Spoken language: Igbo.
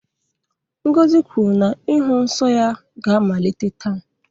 Ngozi kwuru na ịhụ nsọ ya ga-amalite taa.